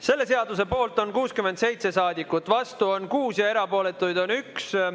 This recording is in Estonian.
Selle seaduse poolt on 67 saadikut, vastu on 6 ja erapooletuid on 1.